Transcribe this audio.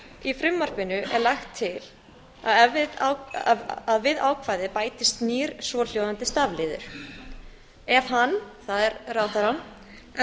í frumvarpinu er lagt til að við ákvæðið bætist nýr svohljóðandi stafliður ef hann það er ráðherrann af